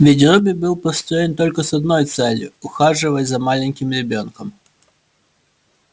ведь робби был построен только с одной целью ухаживать за маленьким ребёнком